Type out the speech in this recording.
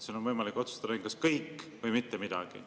Sul on aga võimalik otsustada ainult, kas kõik või mitte midagi.